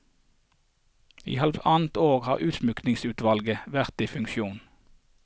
I halvannet år har utsmykkingsutvalget vært i funksjon.